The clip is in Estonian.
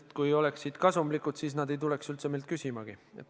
No kui nad oleksid kasumlikud, siis nad ilmselt ei tuleks üldse meilt abi küsimagi.